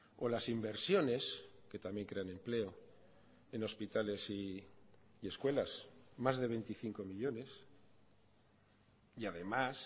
o las inversiones que también crean empleo en hospitales y escuelas más de veinticinco millónes y además